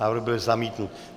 Návrh byl zamítnut.